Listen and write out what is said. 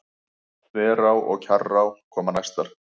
Þverá og Kjarrá koma næstar.